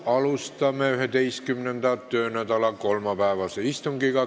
Alustame 11. töönädala kolmapäevast istungit.